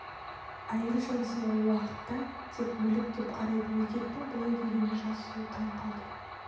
әйел жынысын ол уақытта тек мүлік деп қарайтын еркектің бұлай дегеніне жас сұлу таң қалды